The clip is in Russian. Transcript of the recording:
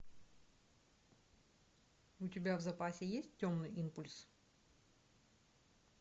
у тебя в запасе есть темный импульс